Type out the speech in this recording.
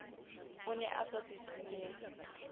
o ne a sa sisinyehe